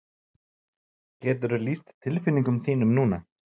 Geturðu lýst tilfinningum þínum núna?